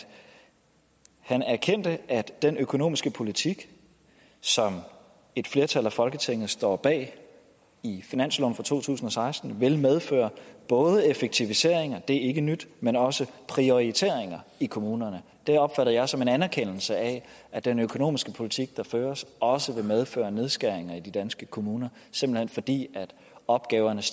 han erkendte at den økonomiske politik som et flertal i folketinget står bag i finansloven for to tusind og seksten vil medføre både effektiviseringer det er ikke nyt men også prioriteringer i kommunerne det opfattede jeg som en anerkendelse af at den økonomiske politik der føres også vil medføre nedskæringer i de danske kommuner simpelt hen fordi opgavernes